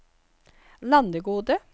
Landegode